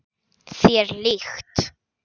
Þér líkt.